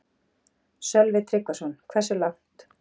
Sölvi Tryggvason: Hversu langt?